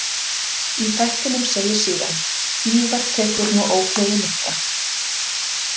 Í þættinum segir síðan: „Ívar tekur nú ógleði mikla“.